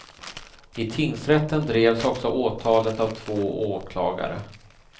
I tingsrätten drevs också åtalet av två åklagare.